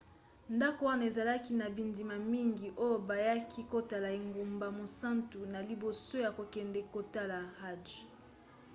ndako wana ezalaki na bandimi mingi oyo bayaki kotala engumba mosantu na liboso ya kokende kotala hajj